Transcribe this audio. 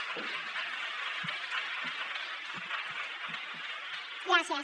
gràcies